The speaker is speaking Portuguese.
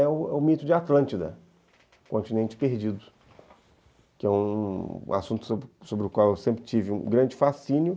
é o o mito de Atlântida, o continente perdido, que é um um assunto sobre o qual eu sempre tive um grande fascínio.